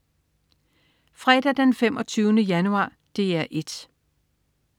Fredag den 25. januar - DR 1: